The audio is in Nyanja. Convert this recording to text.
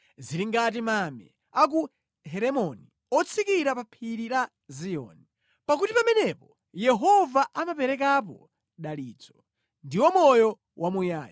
Zili ngati mame a ku Heremoni otsikira pa Phiri la Ziyoni. Pakuti pamenepo Yehova amaperekapo dalitso, ndiwo moyo wamuyaya.